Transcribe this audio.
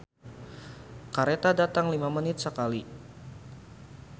"Kareta datang lima menit sakali"